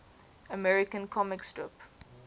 american comic strip